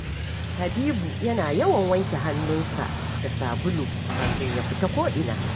Habibu yana yawan wanke hannunsa da sabulu kafin ya fita ko’ina